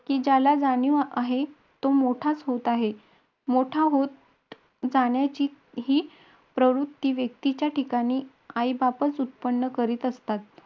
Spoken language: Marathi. माझा मित्र म्हणजे रोहित.मी आणि तो दोघे शाळेत चलत चलत चलत शाळेत पोहोचलो.